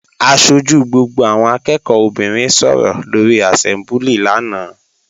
Aṣojú gbogbo àwọn akẹ́ẹ̀kọ́ obìnrin sọ̀rọ̀ lóri àsẹ́mbúlì lánàá